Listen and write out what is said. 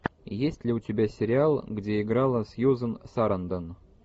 есть ли у тебя сериал где играла сьюзан сарандон